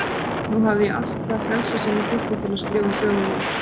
Nú hafði ég allt það frelsi sem ég þurfti til að skrifa sögu mína.